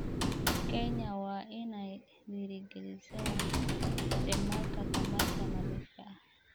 Kenya waa inay dhiirigelisaa isticmaalka tamarta nadiifka ah.